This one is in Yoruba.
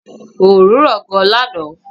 Oòrùn ran gan lànà